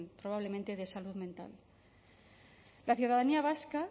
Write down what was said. probablemente de salud mental la ciudadanía vasca